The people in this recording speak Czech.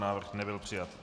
Návrh nebyl přijat.